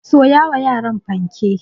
Soya wa yaran fanke.